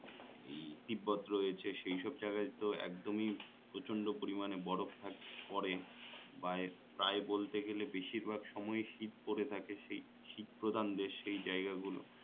তিব্বত রয়েছে সেই সব জায়গায় তো একদমই প্রচন্ড পরিমানে বরফ থাক পরে বা প্রায় বলতে গেলে বেশির ভাগ সময়ই শীত পরে থাকে সেই শীত প্রধান দেশ সেই জায়গাগুলো